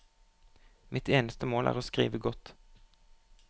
Mitt eneste mål er å skrive godt.